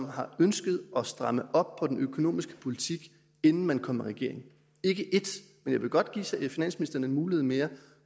har ønsket at stramme op på den økonomiske politik inden man kom i regering ikke ét men jeg vil godt give finansministeren en mulighed mere